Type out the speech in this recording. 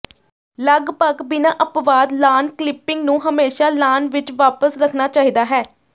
ਲਗਭਗ ਬਿਨਾਂ ਅਪਵਾਦ ਲਾਅਨ ਕਲਿੱਪਿੰਗ ਨੂੰ ਹਮੇਸ਼ਾਂ ਲਾਅਨ ਵਿੱਚ ਵਾਪਸ ਰੱਖਣਾ ਚਾਹੀਦਾ ਹੈ